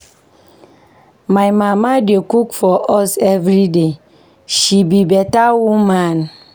My mama dey cook for us everyday, she be beta woman.